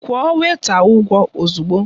Kwụọ wèịta ụgwọ ozugbo!